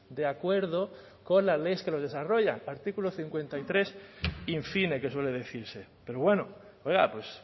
de acuerdo con las leyes que los desarrollan artículo cincuenta y tres in fine que suele decirse pero bueno oiga pues